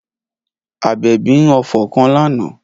Abebi ń ọfọ̀ kan lánà.